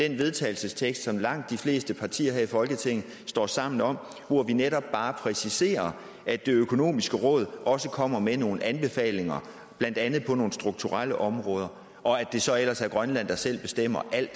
til vedtagelse som langt de fleste partier her i folketinget står sammen om hvor vi netop bare præciserer at det økonomiske råd også kommer med nogle anbefalinger blandt andet på nogle strukturelle områder og at det så ellers er grønland der selv bestemmer alt